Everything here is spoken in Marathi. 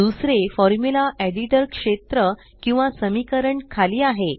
दुसरे फॉर्मुला एडिटर क्षेत्र किंवा समीकरण खाली आहे